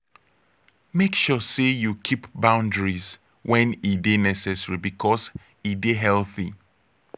make sure say you keep boundaries when e de necessary because e de healthy